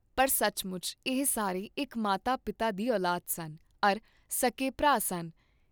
ਪਰ ਸਚਮੁਚ ਏਹ ਸਾਰੇ ਇਕ ਮਾਤਾ ਪਿਤਾ ਦੀ ਉਲਾਦ ਸਨ ਅਰੁ ਸਭ ਸੁੱਕੇ ਭਰਾ ਸਨ।